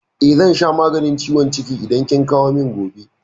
Eh, zan sha maganin ciwon ciki idan kin kawo min gobe.